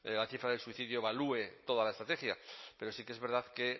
la cifra del suicidio evalúe todas la estrategia pero sí que es verdad que